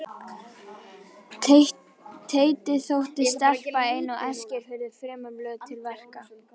Teiti þótti stelpa ein á Eskifirði fremur löt til verka.